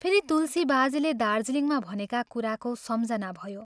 फेरि तुलसी बाजेले दार्जीलिङमा भनेका कुराको सम्झना भयो।